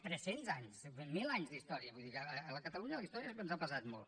trescents anys mil anys d’història vull dir que a catalunya la història ens ha pesat molt